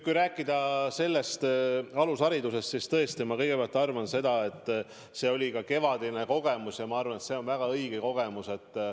Kui rääkida alusharidusest, siis tõesti, ma kõigepealt arvan seda, et see kevadine kogemus on väga hea kogemus.